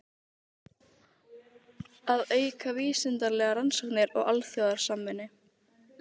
Að auka vísindalegar rannsóknir og alþjóðasamvinnu.